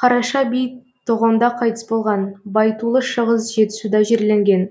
қараша би тоғонда қайтыс болған байтулы шығыс жетісуда жерленген